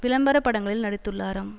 விளம்பர படங்களில் நடித்துள்ளாராம்